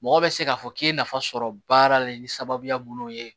Mɔgɔ bɛ se k'a fɔ k'i ye nafa sɔrɔ baara la ni sababuya minnu ye